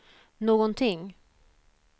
någonting